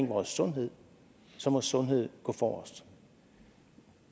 vores sundhed så må sundheden gå forrest